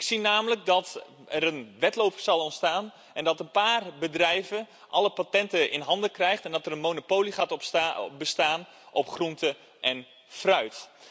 Ik zie namelijk dat er een wedloop zal ontstaan en dat een paar bedrijven alle patenten in handen krijgen en dat er een monopolie gaat bestaan op groente en fruit.